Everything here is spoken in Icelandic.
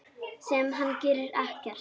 Sem hann gerir.